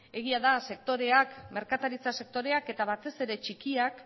egia da sektoreak merkataritza sektoreak eta batez ere txikiak